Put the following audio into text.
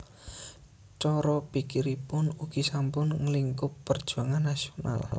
Cara pikiripun ugi sampun nglingkup perjuangan nasional